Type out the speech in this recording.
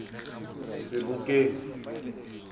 sebokeng